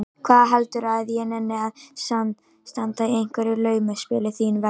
Hvað heldurðu að ég nenni að standa í einhverju laumuspili þín vegna?